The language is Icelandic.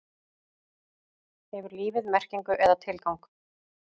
Hefur lífið merkingu eða tilgang?